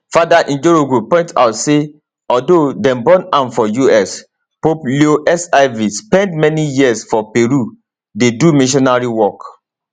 fr njoroge point out say although dem born am for us pope leo xiv spend many years for peru dey do missionary work